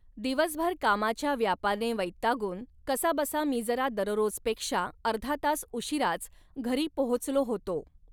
दिवसभर कामाच्या व्यापाने वैगातून कसा बसा मी जरा दररोजपेक्षा अर्धा तास उशिराच घरी पोहोचलो होतो.